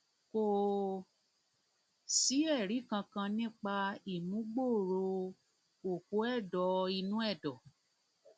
kò sí ẹrí kankan nípa ìmúgbòòrò òpó ẹdọ inú ẹdọ